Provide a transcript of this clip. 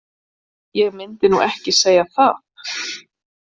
Ég myndi nú ekki segja það.